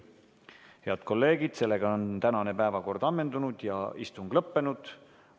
Head kolleegid, tänane päevakord on ammendunud ja istung lõppenud.